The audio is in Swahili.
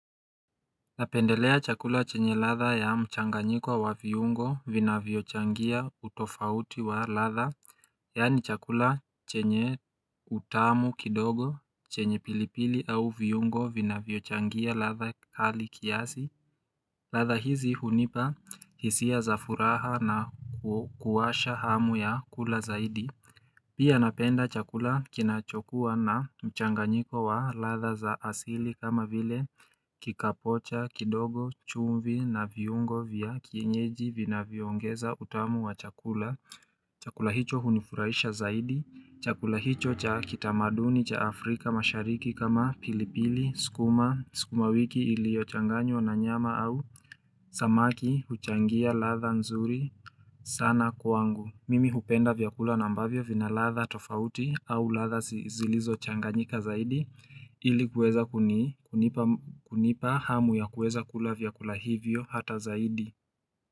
Napendelea chakula chenye latha ya mchanganyiko wa viungo vina viochangia utofauti wa latha Yani chakula chenye utamu kidogo chenye pilipili au viungo vinaviochangia latha hali kiasi latha hizi hunipa hisia za furaha na kuwasha hamu ya kula zaidi Pia napenda chakula kinachokua na mchanganyiko wa latha za asili kama vile kikapocha, kidogo, chumvi na viungo vya kienyeji vina vyongeza utamu wa chakula. Chakula hicho hunifurahisha zaidi. Chakula hicho cha kitamaduni cha Afrika mashariki kama pilipili, skuma, skuma wiki ilio changanywa na nyama au samaki huchangia latha nzuri sana kuangu. Mimi hupenda vyakula nambavyo vina latha tofauti au latha zilizo changanyika zaidi ili kueza kunipa hamu ya kueza kula vyakula hivyo hata zaidi.